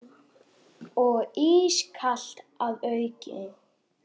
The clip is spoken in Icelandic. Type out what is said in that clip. Og ískalt að auki.